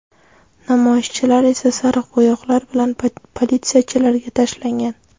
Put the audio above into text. Namoyishchilar esa sariq bo‘yoqlar bilan politsiyachilarga tashlangan.